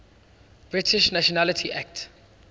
british nationality act